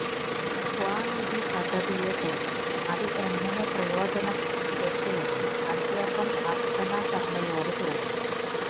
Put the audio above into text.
സ്വാനിധി പദ്ധതിയെക്കുറിച്ചും അത് എങ്ങനെ പ്രയോജനപ്പെട്ടുവെന്നും അദ്ദേഹം അര്ച്ചന ശര്മ്മയോട് ചോദിച്ചു